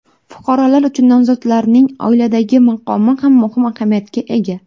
Fuqarolar uchun nomzodlarning oiladagi maqomi ham muhim ahamiyatga ega.